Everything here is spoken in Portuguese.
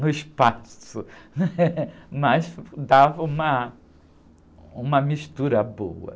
no espaço, mas dava uma, uma mistura boa.